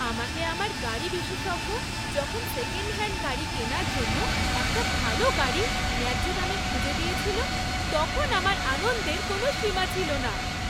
আমাকে আমার গাড়ি বিশেষজ্ঞ যখন সেকেন্ডহ্যান্ড গাড়ি কেনার জন্য একটা ভাল গাড়ি ন্যায্য দামে খুঁজে দিয়েছিল তখন আমার আনন্দের কোনো সীমা ছিল না।